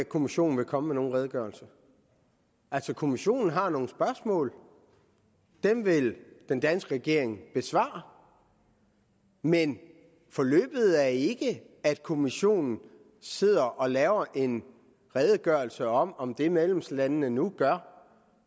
kommissionen vil komme med nogen redegørelse altså kommissionen har nogle spørgsmål og dem vil den danske regering besvare men forløbet er ikke at kommissionen sidder og laver en redegørelse om om det medlemslandene nu gør